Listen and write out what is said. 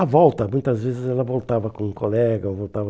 À volta, muitas vezes ela voltava com um colega, ou voltava...